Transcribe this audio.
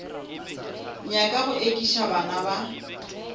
nyaka go ekiša bana ba